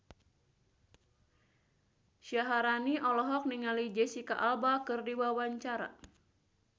Syaharani olohok ningali Jesicca Alba keur diwawancara